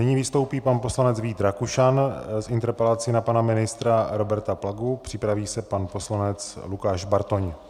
Nyní vystoupí pan poslanec Vít Rakušan s interpelací na pana ministra Roberta Plagu, připraví se pan poslanec Lukáš Bartoň.